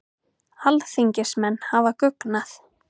Alþingismenn hafa guggnað